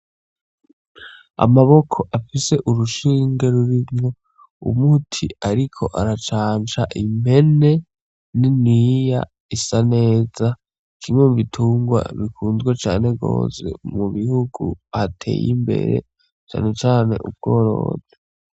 Amaboko afise urushinge rurimwo umuti, ariko aracanca impene niniya isa neza kimwe mubitungwa bikunzwe cane goze mu bihugu ateye imbere canecane ubworoza.